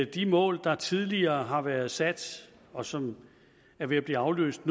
de mål der tidligere har været sat og som nu er ved at blive afløst